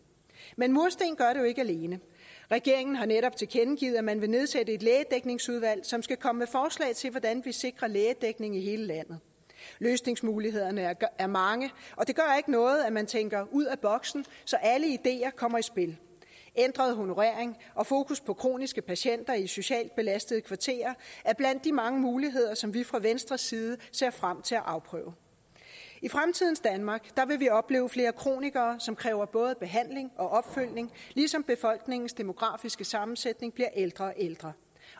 men mursten gør det jo ikke alene regeringen har netop tilkendegivet at man vil nedsætte et lægedækningsudvalg som skal komme med forslag til hvordan vi sikrer lægedækning i hele landet løsningsmulighederne er mange og det gør ikke noget at man tænker ud af boksen så alle ideer kommer i spil ændret honorering og fokus på kroniske patienter i socialt belastede kvarterer er blandt de mange muligheder som vi fra venstres side ser frem til at afprøve i fremtidens danmark vil vi opleve flere kronikere som kræver både behandling og opfølgning ligesom befolkningens demografiske sammensætning bliver ældre og ældre